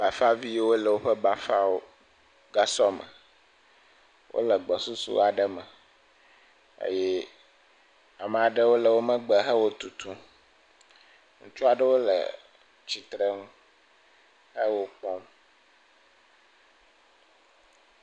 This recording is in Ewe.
Bafaviyiwo le woƒe bafagasɔ me, wole gbɔsusu aɖe me eye ameaɖewo le wo megbe he wo tutum. Ŋutsu aɖewo le tsitre nu he wokpɔm.